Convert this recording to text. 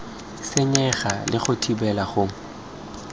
senyege le go thibela go